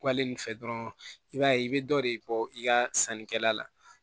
Kɔle nin fɛ dɔrɔn i b'a ye i bɛ dɔ de bɔ i ka sannikɛla la